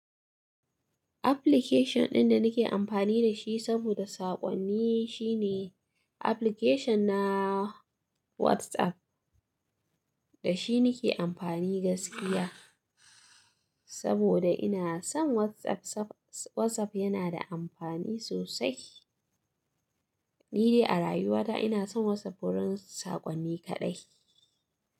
Application ɗin da nake amfani da shi saboda saƙonni shine application na WhatsApp. Da shi nake amfani gaskiya saboda ina son WhatsApp. WhatsApp yana da amfani sosai. Ni de a rayuwata ina son WhatsApp wurin saƙonni kaɗai.